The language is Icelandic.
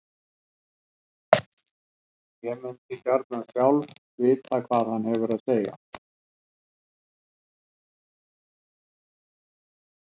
Ég mundi sjálf gjarnan vilja vita hvað hann hefur að segja.